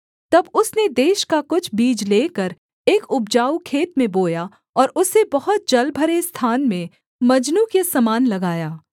तब उसने देश का कुछ बीज लेकर एक उपजाऊ खेत में बोया और उसे बहुत जलभरे स्थान में मजनू के समान लगाया